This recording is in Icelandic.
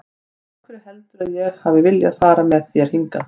Af hverju heldurðu að ég hafi viljað fara með þér hingað?